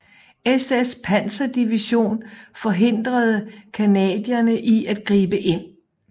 SS panserdivision forhindrede canadierne i at gribe ind